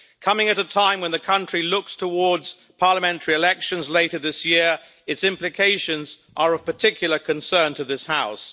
Coming at a time when the country is looking towards parliamentary elections later this year, its implications are of particular concern to this House.